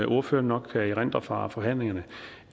ordføreren nok kan erindre fra forhandlingerne